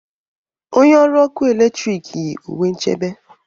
Onye ọrụ ọkụ eletrik yi uwe nchebe